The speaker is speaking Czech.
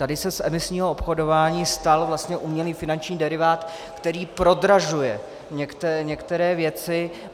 Tady se z emisního obchodování stal vlastně umělý finanční derivát, který prodražuje některé věci.